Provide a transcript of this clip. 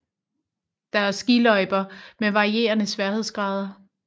Der er skiløjper med varierende sværhedsgrader